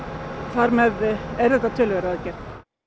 þar með er þetta töluverð aðgerð